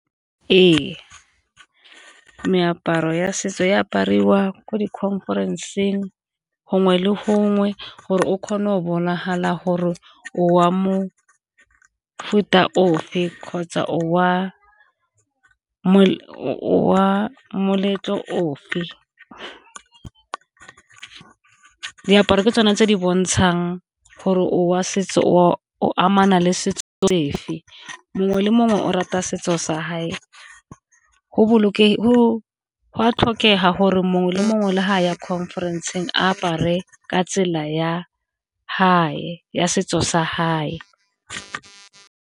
Ee, meaparo ya setso e apariwa ko di-conference-ng gongwe le gongwe gore o kgona go bonagala gore wa mo mofuta ofe kgotsa o wa moletlo ofe. Diaparo ke tsone tse di bontshang gore o amana le setso sefe, mongwe le mongwe o rata setso sa go a tlhokega gore mongwe le mongwe le fa a ya conference-ng apare ka tsela ya ya setso sa .